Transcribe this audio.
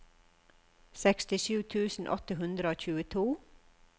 sekstisju tusen åtte hundre og tjueto